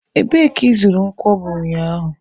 Ebee ka ị zụrụ nkwobi ụnyaahụ?.